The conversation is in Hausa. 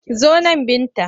Zo nan Binta!